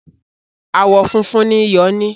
Àwọn funfun ni ìyọ ní